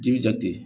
Ji bi jate